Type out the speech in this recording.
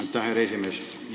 Aitäh, härra esimees!